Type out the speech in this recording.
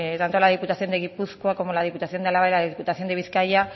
tanto la diputación de gipuzkoa como la diputación de álava y diputación de bizkaia